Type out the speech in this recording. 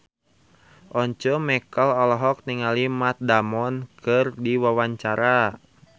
Once Mekel olohok ningali Matt Damon keur diwawancara